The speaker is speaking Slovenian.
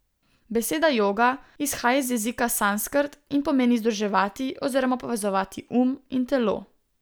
Beseda joga izhaja iz jezika sanskrt in pomeni združevati oziroma povezovati um in telo.